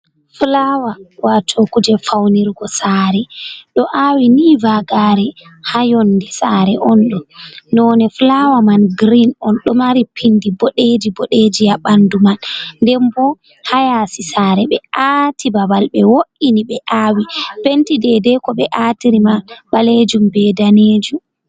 Fulawa wato kuje faunirgo sare ɗo awi ni vagare ha yonde sare on ɗon none fulawa man girin on, ɗo mari pindi boɗeji boɗeji ha ɓandu man den bo ha yasi saare ɓe aati babal be wo’ini ɓe awi penti dedei ko be atiri man ɓalejum be danejum.